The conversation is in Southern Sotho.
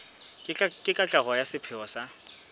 le katleho ya sepheo sa